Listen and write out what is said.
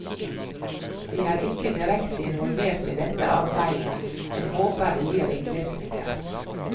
Vi er ikke direkte involvert i dette arbeidet, men håper det gir ringvirkninger.